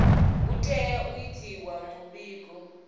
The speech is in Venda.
hu tea u itiwa muvhigo